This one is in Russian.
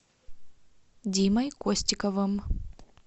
димой костиковым